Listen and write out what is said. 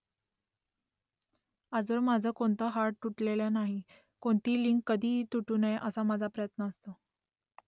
आजवर माझं कोणतं हाड तुटलेलं नाही . कोणतीही लिंक कधीही तुटू नये असा माझा प्रयत्न असतो